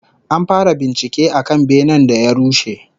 An fara bincike akan benen da ya rushe